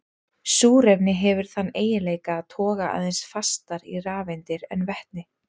Súrefni hefur þann eiginleika að toga aðeins fastar í rafeindir en vetni.